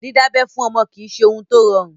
Dídábẹ́ fún ọmọ kìí ṣe ohun tó rọrùn.